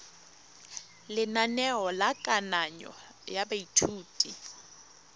lenaneo la kananyo ya baithuti